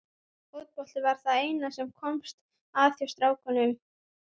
Fótbolti var það eina sem komst að hjá strákunum.